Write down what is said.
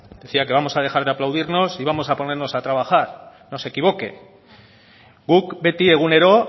decía que vamos a dejar de aplaudirnos y vamos a ponernos a trabajar no se equivoque guk beti egunero